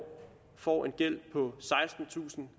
får en gæld på sekstentusind